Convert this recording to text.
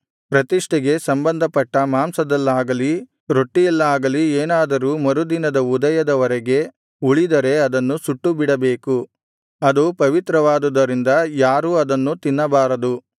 ಪ್ರತಿಷ್ಠೆಗೆ ಸಂಬಂಧಪಟ್ಟ ಮಾಂಸದಲ್ಲಾಗಲಿ ರೊಟ್ಟಿಯಲ್ಲಾಗಲಿ ಏನಾದರೂ ಮರುದಿನದ ಉದಯದ ವರೆಗೆ ಉಳಿದರೆ ಅದನ್ನು ಸುಟ್ಟುಬಿಡಬೇಕು ಅದು ಪವಿತ್ರವಾದುದರಿಂದ ಯಾರೂ ಅದನ್ನು ತಿನ್ನಬಾರದು